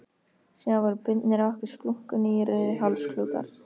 Síðan voru bundnir á okkur splunkunýir rauðir hálsklútar.